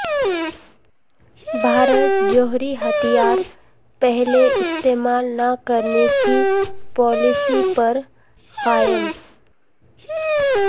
بھارت جوہری ہتھیار پہلے استعمال نہ کرنے کی پالیسی پر قائم